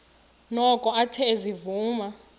noko athe ezivuma